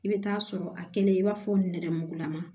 I bɛ taa sɔrɔ a kɛlen i b'a fɔ nɛrɛmugulama